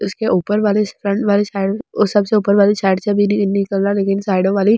उसके ऊपर वाली स्टंट वाली साइड में सबसे ऊपर वाली साइड साइडो वाली।